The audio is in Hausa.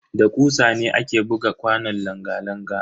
Da kusa ne ake buga kwanon langa-langa.